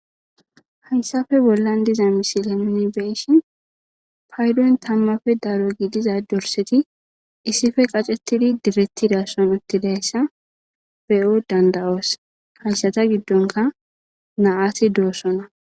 haysafe bollan diza misile nuni beyishin paydon tammafe daro giidiza dorseti issife qacettidi direttidasson uttidayssa beyo dandawoos haysata giddonka naaati doossona